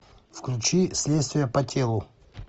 включи следствие по телу